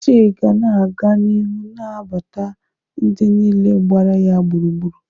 Uche ga na-aga n'ihu na-anabata ndị niile gbara ya gburugburu.